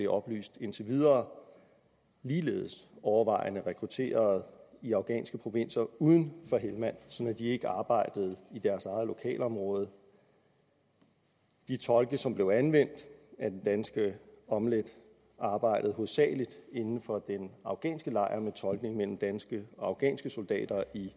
oplyst indtil videre ligeledes overvejende rekrutteret i afghanske provinser uden for helmand sådan at de ikke arbejdede i deres eget lokalområde de tolke som blev anvendt af den danske omlt enhed arbejdede hovedsagelig inden for den afghanske lejr med tolkning mellem danske og afghanske soldater i